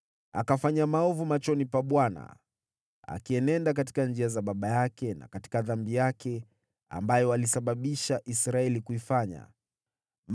Akafanya maovu machoni pa Bwana , akienenda katika njia za baba yake na katika dhambi yake, ambayo alisababisha Israeli kuifanya.